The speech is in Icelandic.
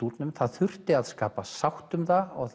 það þurfti að skapa sátt um það og